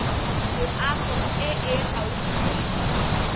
loago e e gaufi le